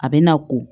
A bɛ na ko